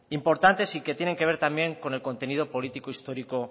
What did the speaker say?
importantes y que tienen que ver también con el contenido político histórico